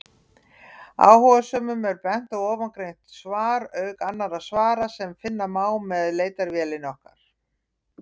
Áhugasömum er bent á ofangreint svar, auk annarra svara sem finna má með leitarvélinni okkar.